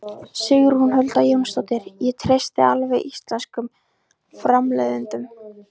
Sigrún Huld Jónsdóttir: Ég treysti alveg íslenskum framleiðendum?